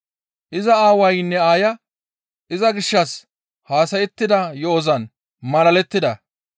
Iza aawaynne aaya iza gishshas haasayettida yo7ozan malalettida.